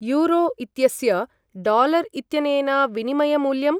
Euro इत्यस्य dollar इत्यनेन विनिमयमूल्यम्?